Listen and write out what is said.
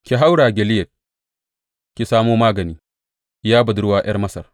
Ki haura Gileyad ki samo magani, Ya Budurwa ’Yar Masar.